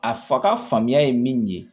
A fa ka faamuya ye min ye